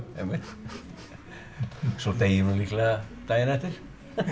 svo dey ég líklega daginn eftir